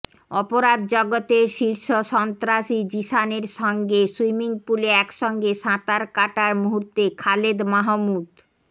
অপরাধ জগতের শীর্ষ সন্ত্রাসী জিসানের সঙ্গে সুইমিংপুলে একসঙ্গে সাঁতার কাটার মুহূর্তে খালেদ মাহমুদ